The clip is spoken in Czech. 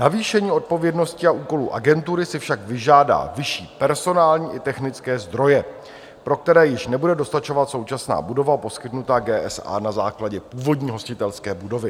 Navýšení odpovědnosti a úkolů agentury si však vyžádá vyšší personální i technické zdroje, pro které již nebude dostačovat současná budova poskytnutá GSA na základě původní hostitelské budovy.